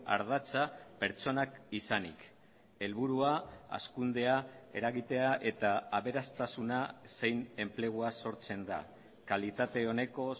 ardatza pertsonak izanik helburua hazkundea eragitea eta aberastasuna zein enplegua sortzen da kalitate oneko